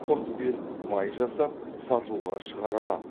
құрт пен май жасап сатуға шығара аламын